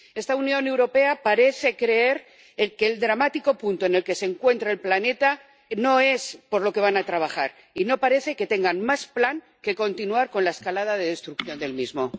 Esta Unión Europea parece creer que el dramático punto en el que se encuentra el planeta no es suficiente para ponerse a trabajar, y no parece que tenga más plan que continuar con la escalada de destrucción del mismo.